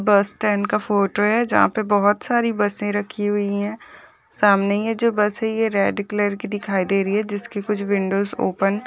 बस स्टैन्ड का फोटो है जहां पे बहुत सारी बसें रखी हुई है सामने ये जो बस हैं ये रेड कलर के दिखाई दे रही है जिसकी कुछ विंडो ओपन --